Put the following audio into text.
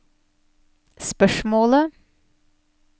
spørsmålet